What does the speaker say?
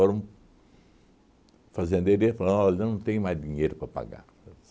foram. Fazendeiro ia falar olha, eu não tenho mais dinheiro para pagar